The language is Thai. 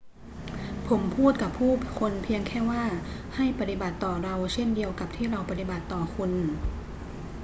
ผมพูดกับผู้คนเพียงแค่ว่า ให้ปฏิบัติต่อเราเช่นเดียวกับที่เราปฏิบัติต่อคุณ